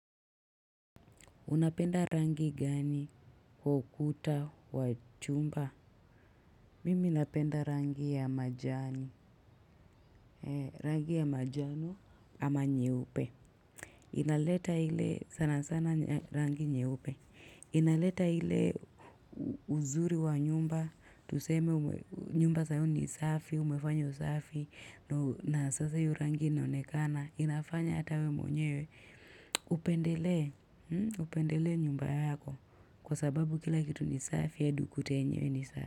Unapenda rangi gani kwa ukuta wa chumba? Mimi napenda rangi ya majani. Rangi ya majani ama nyeupe. Inaleta ile sana sana, rangi nyeupe. Inaleta hile uzuri wa nyumba. Tuseme nyumba sasa ni safi, umefanywa safi, na sasa hiyo rangi inaonekana. Inafanya hata wewe mwenyewe. Upendelee, upendelee nyumba yako. Kwa sababu kila kitu ni safi, hata ukuta wenyewe ni safi.